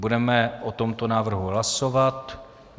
Budeme o tomto návrhu hlasovat.